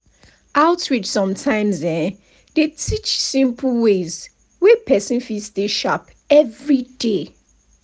outreach sumtimes um dey teach simples ways wey pesin fit stay sharp everiday.